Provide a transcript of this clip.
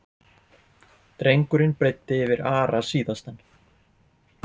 Drengurinn breiddi yfir Ara síðastan.